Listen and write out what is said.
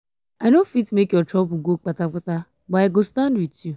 i no fit make your trouble go kpata kpata but i go stand wit you.